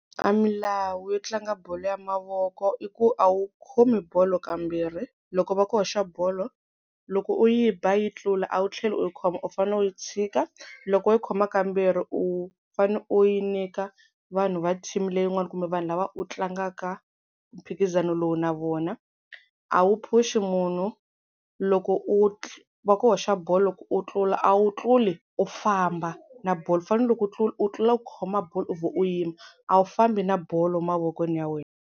A milawu yo tlanga bolo ya mavoko i ku a wu khomi bolo kambirhi, loko va ku hoxa bolo loko u yi ba yi tlula a wu tlheli u yi khoma, u fanele u yi tshika loko u yi khoma kambirhi u fane u yi nyika vanhu va team leyin'wana kumbe vanhu lava u tlangaka mphikizano lowu na vona. A wu phushi munhu loko u, va ku hoxa bolo loko u tlula a wu tluli u famba na bolo u fanele loko u tlula u tlula u khoma bolo u vhe u yima a wu fambi na bolo mavokweni ya wena.